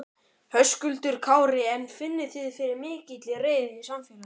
Höskuldur Kári: En finnið þið fyrir mikilli reiði í samfélaginu?